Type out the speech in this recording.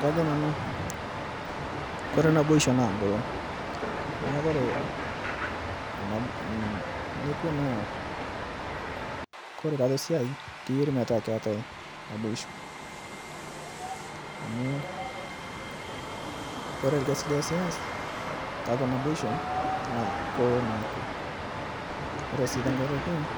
Kajo Nanu, ore naboisho naa engolon naa ore tiatua esiai sidai tenaatai naboisho amu ore orkasi oosi tiatua naboisho naa kelo naa dukuya. Ore enkae toki naa